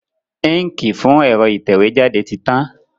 Íǹkì fún ẹ̀rọ ìtẹ̀wé jáde ti tán.